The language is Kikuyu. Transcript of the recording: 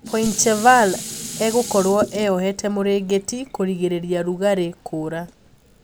Poincheval egokorwo eohete mũringitĩ kũrigiria rugarĩĩ kũũra.